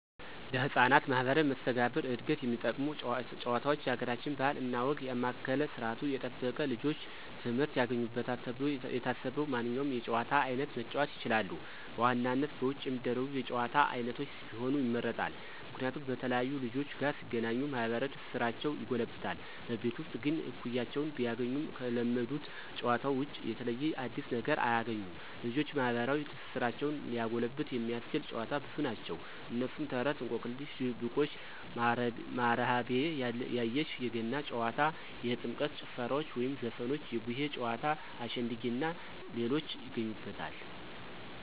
ለህፃናት ማህበራዊ መስተጋብር ዕድገት የሚጠቅሙ ጭዋታውች የአገራችንን ባህል እና ወግ ያማከለ ስርዓቱን የጠበቀ ልጆች ትምህርት ያገኙበታል ተብሎ የታሰበውን ማንኛውንም የጨዋታ አይነት መጫወት ይችላሉ። በዋናነት በውጭ የሚደረጉ የጭዋታ አይነቶች ቢሆኑ ይመረጣል። ምክንያቱም በተለያዩ ልጆች ጋር ሲገናኙ ማህበራዊ ትስስራቸው ይጎለብታል። በቤት ውስጥ ግን እኩያወችን ቢያገኙም ከለመዱት ጨዋታዎች ውጭ የተለየ አዲስ ነገር አያግኙም። ልጆችን ማህበራዊ ትስስራቸውን ሊያጎለብት የሚያስችሉ ጨዋታዎች ብዙ ናቸው። እነሱም፦ ተረት፣ እንቆቅልሽ፣ ድብብቆሽ፣ ማሀረቤ ያየሽ፣ የገና ጨዋታ፣ የጥምቀት ጭፈራዎች ወይም ዘፈኖች፣ የቡሄ ጨዋታ፣ አሸንድየ እናንተ ሌሎችን ይገኙበታል።